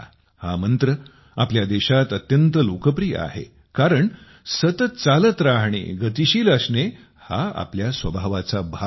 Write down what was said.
हा मंत्र आपल्या देशात अत्यंत लोकप्रिय आहे कारण सतत चालत राहणे गतिशील असणे हा आपल्या स्वभावाचा एक भाग आहे